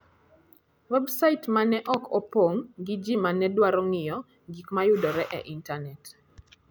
Websait ma ne ok opong ' gi ji ma ne dwaro ng'iyo gik ma yudore e intanet.